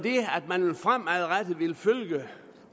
og at man fremadrettet vil følge